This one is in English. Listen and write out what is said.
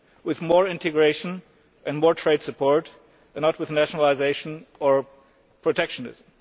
with more integration and more trade support, and not with nationalisation or protectionism.